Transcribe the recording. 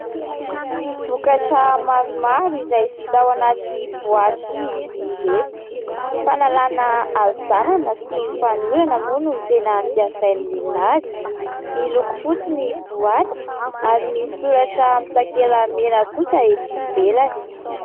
Vokatra maromaro izay vita ao anaty boaty izy ireto. Fanalana avizanana sy fanorana moa no tena ampiasain'ny olona azy, miloko fotsy ny boaty ary misoratra mitakela mena kosa eto ivelany.